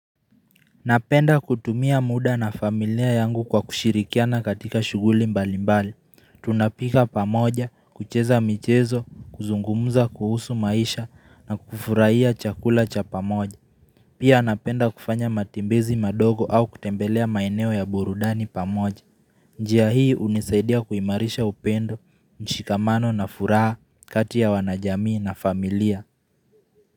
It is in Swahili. Napenda kutumia muda na familia yangu kwa kushirikiana katika shughuli mbali mbali. Tunapika pamoja, kucheza michezo, kuzungumza kuhusu maisha, na kufurahia chakula cha pamoja. Pia napenda kufanya matembezi madogo au kutembelea maeneo ya burudani pamoja. Njia hii hunisaidia kuimarisha upendo, mshikamano na furaha kati ya wanajamii na familia.